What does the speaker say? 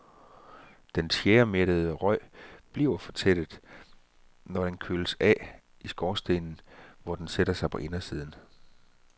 Den tjæremættede røg bliver fortættet, når den køles af i skorstenen, hvor den sætter sig på indersiden.